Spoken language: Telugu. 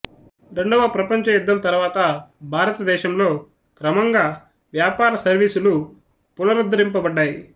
రెండవ ప్రపంచ యుద్ధం తరువాత భారతదేశంలో క్రమంగా వ్యాపార సర్వీసులు పునరుద్ధరింప బడ్డాయి